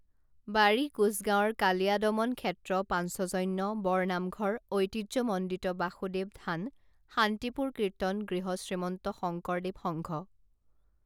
বাৰী কোঁছগাঁৱৰ কালীয়াদমন ক্ষেত্ৰপাঞ্চজন্য বৰনামঘৰ ঐতিহ্যমণ্ডিত বাসুদেৱ থান শান্তিপুৰ কীৰ্তন গৃহশ্ৰীমন্ত শংকৰ দেৱ সংঘ